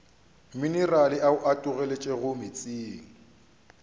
minerale ao a tologetšego meetseng